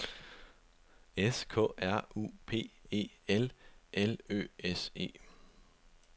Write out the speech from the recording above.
S K R U P E L L Ø S E